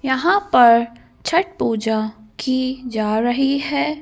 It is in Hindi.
यहाँ पर छट पूजा की जा रही है ।